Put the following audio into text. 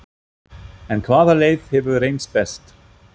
En hvaða leið hefur reynst best?